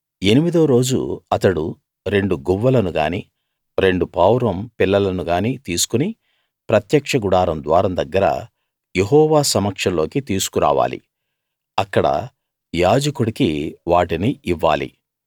ఎనిమిదో రోజు అతడు రెండు గువ్వలను గానీ రెండు పావురం పిల్లలను గానీ తీసుకుని ప్రత్యక్ష గుడారం ద్వారం దగ్గర యెహోవా సమక్షంలోకి తీసుకు రావాలి అక్కడ యాజకుడికి వాటిని ఇవ్వాలి